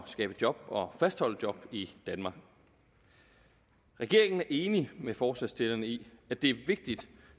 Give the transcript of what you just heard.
skabe job og fastholde job i danmark regeringen er enig med forslagsstillerne i at det er vigtigt